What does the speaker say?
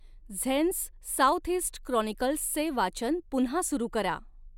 झेन्स southeast क्रॉनिकल्सचे वाचन पुन्हा सुरु करा